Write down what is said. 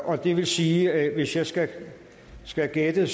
og det vil sige at hvis jeg skal skal gætte